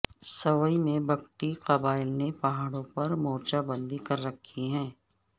سوئی میں بگٹی قبائل نے پہاڑوں پر مورچہ بندی کر رکھی ہے